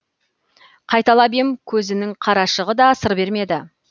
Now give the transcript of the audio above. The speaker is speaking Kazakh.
қайталап ем көзінің қарашығы да сыр бермеді